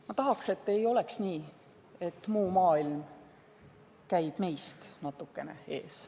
Ma tahan, et ei oleks nii, et muu maailm käib meist natukene ees.